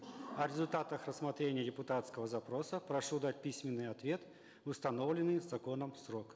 о результатах рассмотрения депутатского запроса прошу дать письменный ответ в установленный законом срок